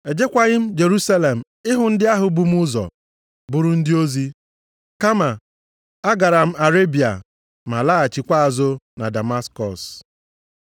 Ejekwaghị m Jerusalem ịhụ ndị ahụ bu m ụzọ bụrụ ndị ozi, kama a gara m Arebịa, ma laghachikwa azụ na Damaskọs.